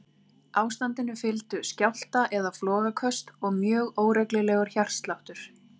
Ástandinu fylgdu skjálfta- eða flogaköst og mjög óreglulegur hjartsláttur.